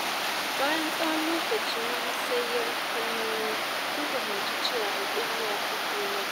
Bayan tsawon lokaci na musayar kalmomi, sun fahimci cewa hakuri yafi komai.